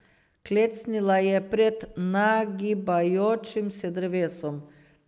Klecnila je pred nagibajočim se drevesom.